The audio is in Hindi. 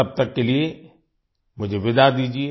तब तक के लिए मुझे विदा दीजिये